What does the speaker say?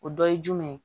O dɔ ye jumɛn ye